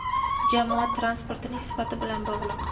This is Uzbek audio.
jamoat transportining sifati bilan bog‘liq.